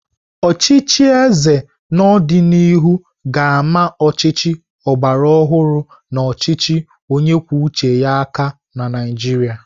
Ọchịchị eze n'ọdịnihu ga-ama ọchịchị ọgbara ọhụrụ na ọchịchị onye kwuo uche ya aka na Naijiria.